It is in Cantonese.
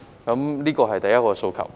這是第一個訴求。